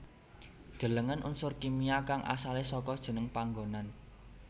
Delengen Unsur kimia kang asalé saka jeneng panggonan